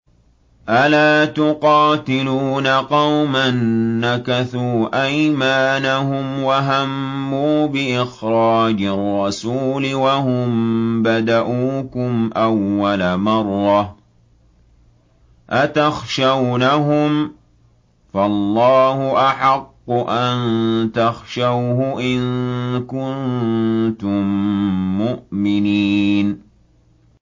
أَلَا تُقَاتِلُونَ قَوْمًا نَّكَثُوا أَيْمَانَهُمْ وَهَمُّوا بِإِخْرَاجِ الرَّسُولِ وَهُم بَدَءُوكُمْ أَوَّلَ مَرَّةٍ ۚ أَتَخْشَوْنَهُمْ ۚ فَاللَّهُ أَحَقُّ أَن تَخْشَوْهُ إِن كُنتُم مُّؤْمِنِينَ